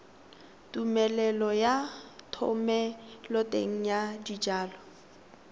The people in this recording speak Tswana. tumelelo ya thomeloteng ya dijalo